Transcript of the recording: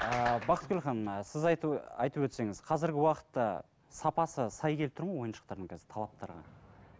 ыыы бақытгүл ханым сіз айтып айтып өтсеңіз қазіргі уақытта сапасы сай келіп тұр ма ойыншықтардың қазір талаптарға